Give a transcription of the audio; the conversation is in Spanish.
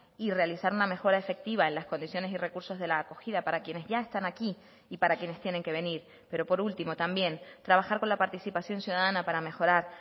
y realizar una mejora efectiva en las condiciones y recursos de la acogida para quienes ya están aquí y para quienes tienen que venir pero por último también trabajar con la participación ciudadana para mejorar